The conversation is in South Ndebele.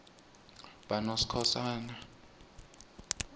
banoskhosana